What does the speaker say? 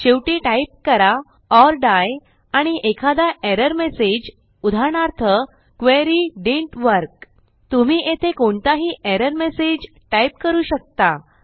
शेवटी टाईप करा or die आणि एखादा एरर मेसेज उदाहरणार्थ क्वेरी डिडंट वर्क तुम्ही येथे कोणताही एरर messageटाईप करू शकता